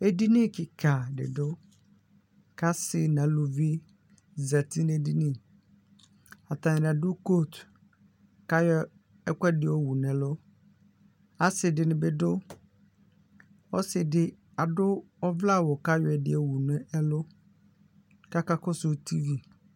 Edini kika didʋ kʋ asɩ nʋ alʋvi zati nʋ edini atani adʋ kotʋ kʋ ayɔ ɛkʋɛdi yɔwʋ nʋ ɛlʋ asidini bidʋ ɔsidi adʋ ɔvlɛawʋ kʋ ayɔ ɛdi yowʋ ɛlʋ kʋ aka kɔsʋ tivi